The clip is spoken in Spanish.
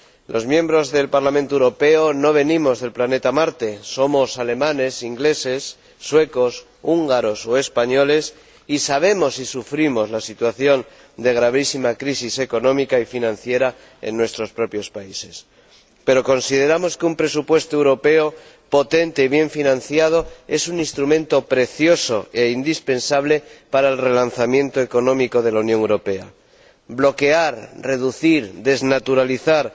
Los miembros del Parlamento Europeo no venimos del planeta Marte. Somos alemanes, ingleses, suecos, húngaros o españoles y conocemos y sufrimos la situación de gravísima crisis económica y financiera en nuestros propios países. Pero consideramos que un presupuesto europeo potente y bien financiado es un instrumento valioso e indispensable para el relanzamiento económico de la Unión Europea. Bloquear, reducir, desnaturalizar